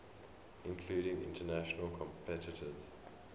including international competitors